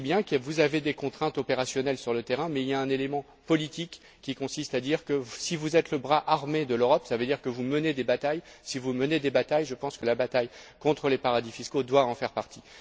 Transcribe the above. Je sais bien que vous avez des contraintes opérationnelles sur le terrain, mais il y a un élément politique qui consiste à dire que, si vous êtes le bras armé de l'Europe, ça veut dire que vous menez des batailles. Si vous menez des batailles, je pense que la bataille contre les paradis fiscaux doit en faire partie.